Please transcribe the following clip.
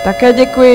Také děkuji.